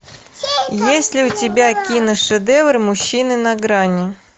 есть ли у тебя киношедевр мужчина на грани